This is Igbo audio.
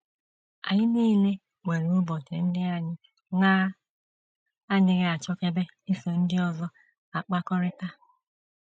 Anyị nile nwere ụbọchị ndị anyị na - adịghị achọkebe iso ndị ọzọ akpakọrịta.